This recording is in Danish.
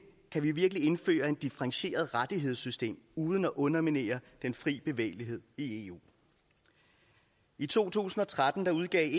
kan vi virkelig indføre et differentieret rettighedssystem uden at underminere den fri bevægelighed i eu i to tusind og tretten udgav